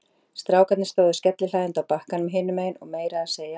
Strákarnir stóðu skellihlæjandi á bakkanum hinum megin og meira að segja